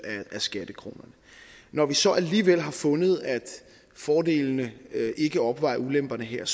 af skattekronerne når vi så alligevel har fundet at fordelene ikke opvejer ulemperne her